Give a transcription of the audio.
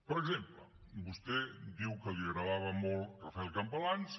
per exemple vostè diu que li agradava molt rafel campalans